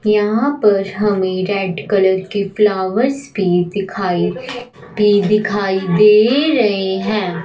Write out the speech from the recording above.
यहां पर हमें रेड कलर की फ्लावर्स भी दिखाई भी दिखाई दे रही हैं।